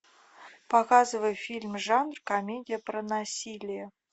показывай фильм жанр комедия про насилие